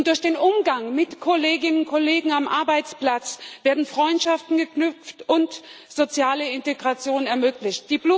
Durch den Umgang mit Kolleginnen und Kollegen am Arbeitsplatz werden Freundschaften geknüpft und soziale Integration ermöglicht.